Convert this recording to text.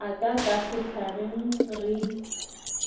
a ka ka sehlageng re